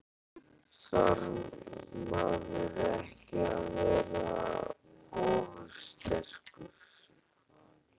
Karen: Þarf maður ekki að vera ofursterkur?